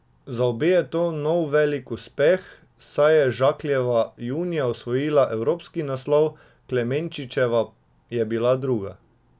Za obe je to nov velik uspeh, saj je Žakljeva junija osvojila evropski naslov, Klemenčičeva je bila druga.